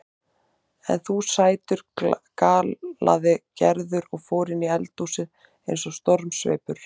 En þú sætur galaði Gerður og fór inni í eldhúsið eins og stormsveipur.